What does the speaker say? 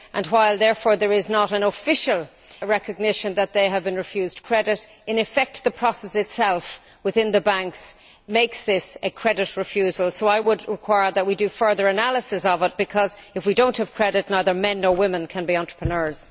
While, therefore, there is no official recognition that they have been refused credit, in effect the process itself within the banks makes this a credit refusal, so I would require that we do further analysis of it, because if we do not have credit neither men nor women can be entrepreneurs.